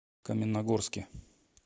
каменногорске